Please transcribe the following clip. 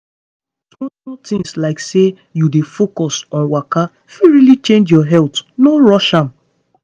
small-small things like say you dey focus on waka fit really change your health no rush am.